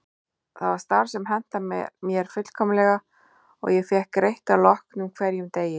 Það var starf sem hentaði mér fullkomlega og ég fékk greitt að loknum hverjum degi.